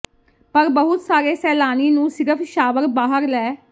ਪਰ ਬਹੁਤ ਸਾਰੇ ਸੈਲਾਨੀ ਨੂੰ ਸਿਰਫ਼ ਸ਼ਾਵਰ ਬਾਹਰ ਲੈ